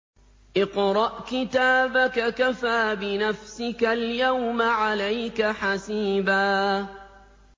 اقْرَأْ كِتَابَكَ كَفَىٰ بِنَفْسِكَ الْيَوْمَ عَلَيْكَ حَسِيبًا